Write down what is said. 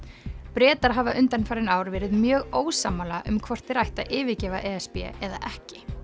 Bretar hafa undanfarin ár verið mjög ósammála um hvort þeir ættu að yfirgefa e s b eða ekki